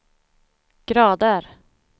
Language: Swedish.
grader